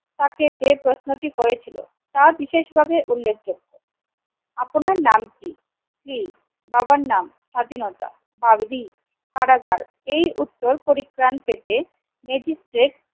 তাকে যে প্রশ্নটি করেছিল তা বিশেষভাবে উল্লেখযোগ্য আপনার নাম কি স্ত্রী বাবার নাম স্বাধীনতা ভাব রি কারাগার এই উত্তর পরিত্রাণ পেতে ম্যাজিস্ট্রেট